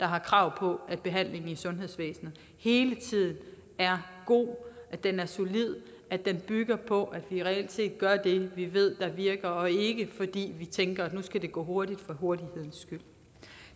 har krav på at behandlingen i sundhedsvæsenet hele tiden er god at den er solid at den bygger på at vi reelt set gør det vi ved der virker og ikke fordi vi tænker at nu skal det gå hurtigt for hurtigheden skyld